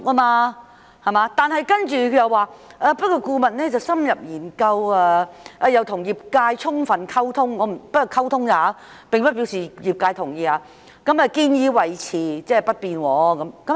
然而，局長接着說，顧問深入研究亦與業界充分溝通——只是溝通，並不表示業界同意——建議維持不變。